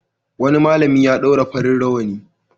Wani malami ya ɗaura farin rawani.